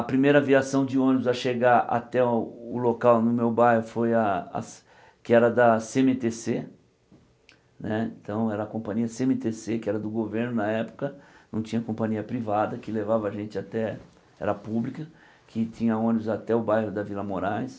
A primeira aviação de ônibus a chegar até o local no meu bairro foi a, que era da Cê êMe Tê Cê, então era a companhia Cê êMe Tê Cê, que era do governo na época, não tinha companhia privada, que levava a gente até, era pública, que tinha ônibus até o bairro da Vila Moraes.